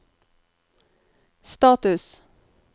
status